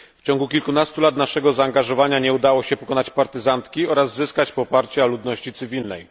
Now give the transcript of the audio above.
W ciągu kilkunastu lat naszego zaangażowania nie udało się pokonać partyzantki oraz zyskać poparcia ludności cywilnej.